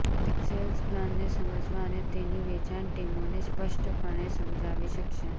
તે સેલ્સ પ્લાનને સમજવા અને તેની વેચાણ ટીમોને સ્પષ્ટપણે સમજાવી શકશે